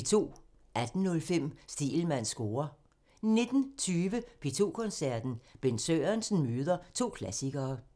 18:05: Stegelmanns score (tir) 19:20: P2 Koncerten – Bent Sørensen møder to klassikere